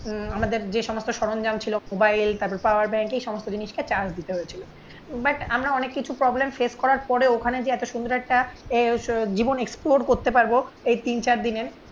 উম আমাদের যে সমস্ত সরঞ্জাম ছিল মোবাইল তারপর পাওয়ার ব্যাংকে এই সমস্ত জিনিসটা চার্জ দিতে হয়েছিল. বাট আমরা অনেক কিছু প্রবলেম ফেস করার পরে ওখানে যে এতো সুন্দর একটা জীবন এক্সপ্লোর করতে পারবো. এই তিন চার দিনের